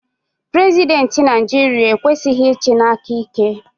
Prezidenti Naijiria ekwesighi ichi n'aka ike.